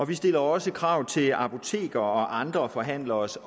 vi stiller også krav til apotekere og andre forhandleres